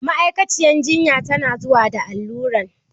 Ma'aikaciyar jinya ta na zuwa da alluran